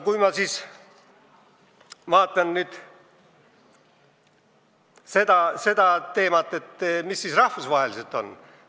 Vaatame nüüd seda teemat rahvusvahelises plaanis.